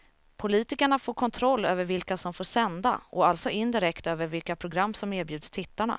Politikerna får kontroll över vilka som får sända och alltså indirekt över vilka program som erbjuds tittarna.